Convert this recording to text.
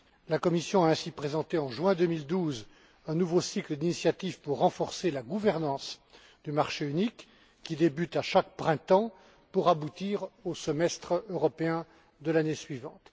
La Commission a ainsi présenté en juin 2012 un nouveau cycle d'initiatives pour renforcer la gouvernance du marché unique qui débute à chaque printemps pour aboutir au semestre européen de l'année suivante.